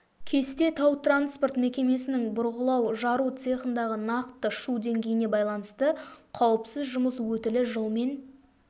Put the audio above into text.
кесте тау-транспорт мекемесінің бұрғылау жару цехындағы нақты шу деңгейіне байланысты қауіпсіз жұмыс өтілі жылмен